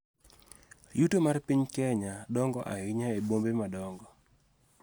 Yuto mar piny Kenya dongo ahinya e bombe madongo.